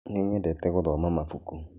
Nĩnyedete gũthoma mabũkũ.